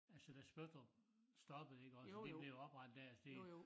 Altså da Spøttrup stoppede iggås og de blev oprettet dér det